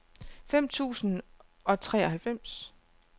fem tusind og treoghalvfems